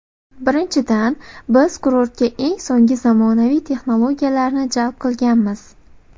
Birinchidan, Biz kurortga eng so‘ngi zamonaviy texnologiyalarni jalb qilganmiz.